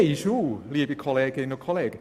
Liebe Kolleginnen und Kollegen: